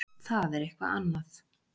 Það er eitthvað annað.